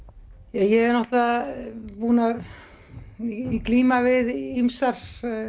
ég er náttúrulega búin að glíma við ýmsar